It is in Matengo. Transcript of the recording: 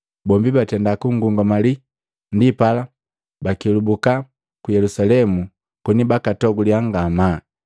Bombi batenda kungungamali, ndipala bakelubuka ku Yelusalemu koni bakatoguliya ngamaa.